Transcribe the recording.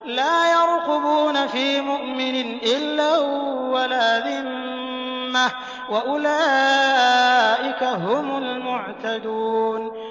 لَا يَرْقُبُونَ فِي مُؤْمِنٍ إِلًّا وَلَا ذِمَّةً ۚ وَأُولَٰئِكَ هُمُ الْمُعْتَدُونَ